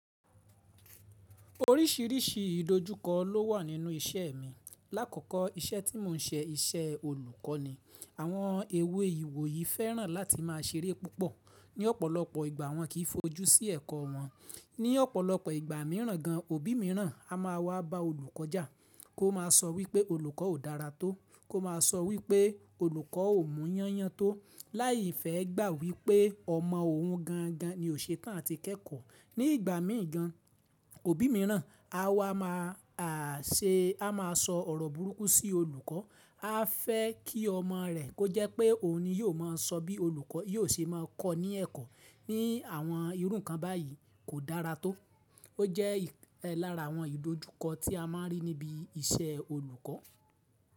Oríṣìíríṣìí ìdójúkọ ló wà nínú iṣẹ́ mi. Lákoko, iṣẹ́ tí mò ń ṣe iṣẹ́ olùkọ́ ni. Àwọn èwe ìwòyí fẹ́ràn láti má a ṣeré púpọ̀ ní ọ̀pọ̀lọpọ̀ ìgbà wọn kì í fojú sí ẹ̀kọ́ wọn. Ní ọ̀pọ̀lọpọ̀ ìgbà míràn gan, òbí míràn a má a wá ba olùkọ́ já, kó má a sọ wípé olùkọ́ ò dára tó, kó má a sọ wípé olùkọ́ ò mú yányan tó, láì fẹ́ gbà wípé ọmọ òun gan gan ni o ṣetan àti kẹ́kọ̀ọ́. Ní ìgbà míì gan, òbí míràn a wá má a ṣe, a má a sọ ọ̀rọ̀ burúkú sí olùkọ́, a fẹ́ kí ọmọ rẹ̀, kó jẹ́ pé òun ni yóò má a sọ bí olùkọ́ yóò ṣe máa kọ́ ní ẹ̀kọ́. Ní àwọn irú ńkan báyìí kò dára tó. Ó jẹ́ larà àwọn ìdójúkọ tí a má a rí níbi iṣẹ́ olùkọ́.